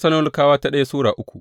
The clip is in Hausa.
daya Tessalonikawa Sura uku